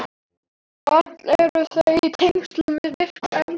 Öll eru þau í tengslum við virk eldfjöll.